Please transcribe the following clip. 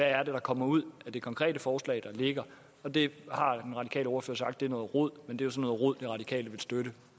er der kommer ud af det konkrete forslag der ligger og det har den radikale ordfører sagt er noget rod men det er så noget rod de radikale vil støtte